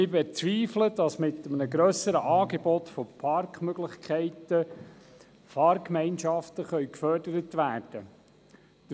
Wir bezweifeln, dass mit einem grösseren Angebot von Parkmöglichkeiten Fahrgemeinschaften gefördert werden können.